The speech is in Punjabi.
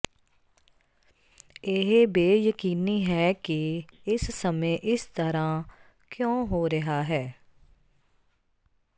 ਇਹ ਬੇਯਕੀਨੀ ਹੈ ਕਿ ਇਸ ਸਮੇਂ ਇਸ ਤਰ੍ਹਾਂ ਕਿਉਂ ਹੋ ਰਿਹਾ ਹੈ